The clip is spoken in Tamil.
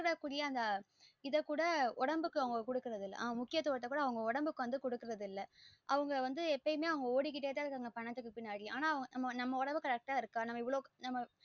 அதுக்குரிய அந்த இத குட உடம்புக்கு அவங்க குடுக்கிது இல்ல முக்கியதுவத்த உடம்புக்கு அவங்க குடுக்கிது இல்ல அவங்க வந்து எப்போயுமே அவங்க ஓடிக்கிட்டே த இருக்காங்க பணத்துக்கு பின்னாடி ஆனா நம்ம உடம்பு correct ஆஹ் இருக்கா இவ்ளோ வந்து